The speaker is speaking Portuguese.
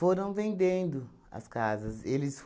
vendendo as casas. Eles